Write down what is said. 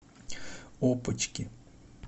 опочки